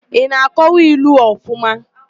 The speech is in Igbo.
Ị na-akọwa ilu ọfụma?